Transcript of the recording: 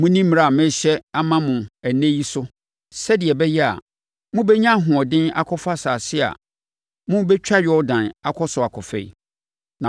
Monni mmara a merehyɛ ama mo ɛnnɛ yi so sɛdeɛ ɛbɛyɛ a, mobɛnya ahoɔden akɔfa asase a morebɛtwa Yordan akɔ so akɔfa yi,